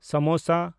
samosa